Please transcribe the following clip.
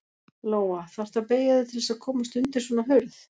Lóa: Þarftu að beygja þig til þess að komast undir svona hurð?